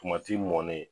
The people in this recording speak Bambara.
mɔnen